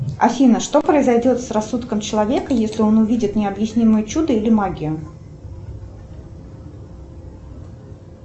афина что произойдет с рассудком человека если он увидит необъяснимое чудо или магию